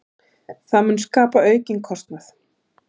Það mun skapa aukinn kostnað.